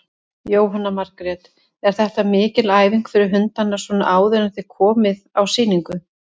Jóhanna Margrét: Er þetta mikil æfing fyrir hundana svona áður en þið komið á sýningu?